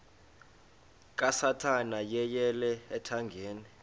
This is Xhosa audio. kasathana yeyele ethangeni